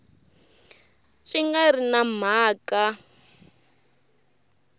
swi nga ri na mhaka